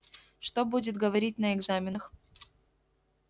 что будет говорить на экзаменах